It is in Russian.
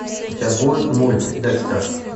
у тебя будет мульт декстер